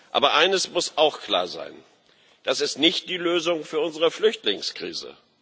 Aber eines muss auch klar sein Das ist nicht die Lösung für unsere Flüchtlingskrise.